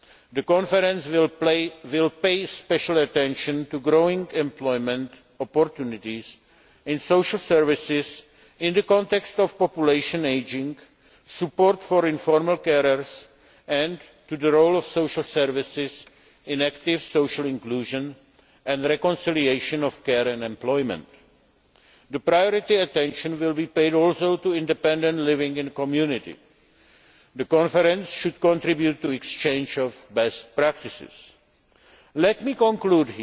The conference will pay special attention to growing employment opportunities in social services in the context of population ageing, support for informal carers and the role of social services in active social inclusion and reconciliation of care and employment. Priority attention will also be paid to independent living in the community. The conference should contribute to the exchange of best practices. Let me conclude